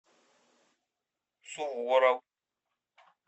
суворов